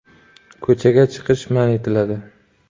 “Ko‘chaga chiqish man etiladi.